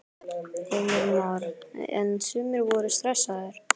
Heimir Már: En sumir voru stressaðir?